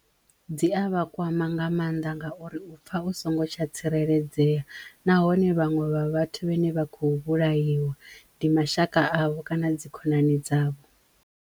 Dzi a vhakwama nga mannḓa ngauri u pfha u songo tsha tsireledzeya nahone vhaṅwe vha vhathu vhane vha khou vhulaiwa ndi mashaka avho kana dzi khonani dzavho.